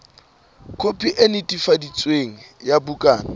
khopi e netefaditsweng ya bukana